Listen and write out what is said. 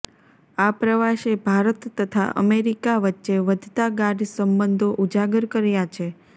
આ પ્રવાસે ભારત તથા અમેરિકા વચ્ચે વધતા ગાઢ સંબંધો ઉજાગર કર્યા છે